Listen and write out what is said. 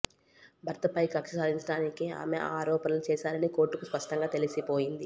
భర్తపై కక్ష సాధించడానికే ఆమె ఆ ఆరోపణలు చేశారని కోర్టుకు స్పష్టంగా తెలిసిపోయింది